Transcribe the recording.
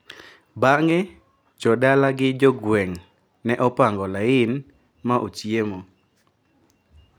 Bang`e jodala gi jogweng` ne opango lain ma ochiemo.